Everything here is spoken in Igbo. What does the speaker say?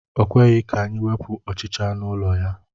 O kweghị ka anyị wepụ ọchịcha nọ n'ụlọ ya.